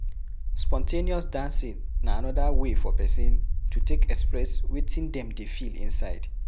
Spon ten ous dancing na anoda way for person to take express wetin dem dey feel inside